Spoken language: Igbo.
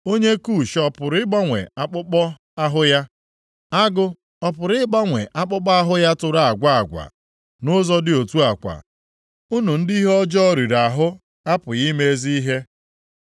Onye Kush ọ pụrụ ịgbanwe akpụkpọ ahụ ya? Agụ ọ pụrụ ịgbanwe akpụkpọ ahụ ya tụrụ agwa agwa? Nʼụzọ dị otu a kwa, unu ndị ihe ọjọọ riri ahụ apụghị ime ezi ihe.